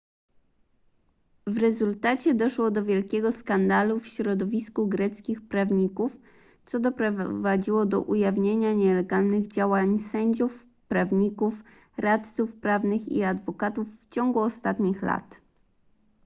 w rezultacie doszło do wielkiego skandalu w środowisku greckich prawników co doprowadziło do ujawnienia nielegalnych działań sędziów prawników radców prawnych i adwokatów w ciągu ostatnich lat